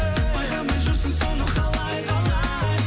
байқамай жүрсің соны қалай қалай